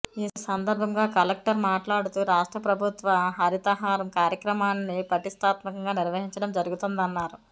ఈ సందర్భంగా కలెక్టర్ మాట్లాడుతూ రాష్ట్ర ప్రభుత్వ హరితహారం కార్యక్రమాన్ని ప్రతిష్టాత్మకంగా నిర్వహించడం జరుగుతుందన్నారు